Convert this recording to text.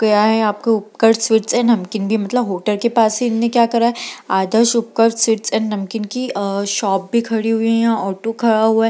गया है आपको उतकर्ष स्वीट्स एंड नमकीन मतलब होटल के पास इन्होंने क्या करा है आदर्श स्वीट्स एंड नमकीन की अ शॉप भी खड़ी है यहाँ ऑटो खड़ा है ।